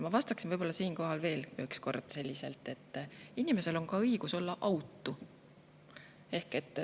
Ma vastan siinkohal veel üks kord, et inimesel on ka õigus olla autu.